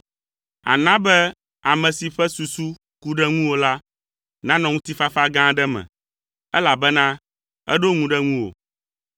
Àna be ame si ƒe susu ku ɖe ŋuwò la nanɔ ŋutifafa gã aɖe me, elabena eɖo ŋu ɖe ŋuwò.